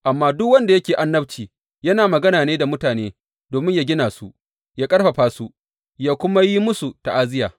Amma duk wanda yake annabci, yana magana ne da mutane domin yă gina su, yă ƙarfafa su, yă kuma yi musu ta’aziyya.